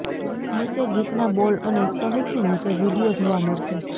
નીચે ગીતના બોલ અને સહુ થી નીચે વિડિઓ જોવા મળશે